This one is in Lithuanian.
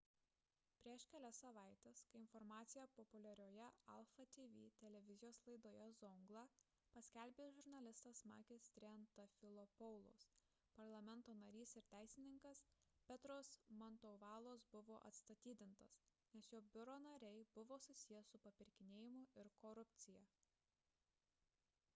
prieš kelias savaites kai informaciją populiarioje alpha tv televizijos laidoje zoungla paskelbė žurnalistas makis triantafylopoulos parlamento narys ir teisininkas petros mantouvalos buvo atstatydintas nes jo biuro nariai buvo susiję su papirkinėjimu ir korupcija